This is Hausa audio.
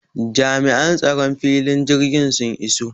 Jami'an tsaron filin jirgi sun iso